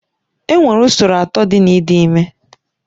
Enwere usoro atọ dị na ịdị ime